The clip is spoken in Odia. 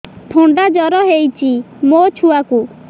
ଥଣ୍ଡା ଜର ହେଇଚି ମୋ ଛୁଆକୁ